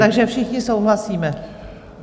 Takže všichni souhlasíme?